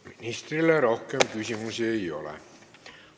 Ministrile rohkem küsimusi ei ole.